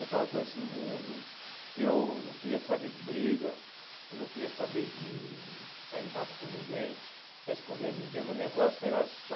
Eu estava conhecendo o mundo, eu não queria saber de briga, eu não queria saber de sair no tapa com ninguém, responder ninguém, meu negócio era só...